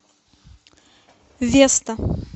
веста